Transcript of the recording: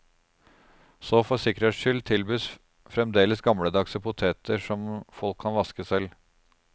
Så for sikkerhets skyld tilbys fremdeles gammeldagse poteter som folk kan vaske selv.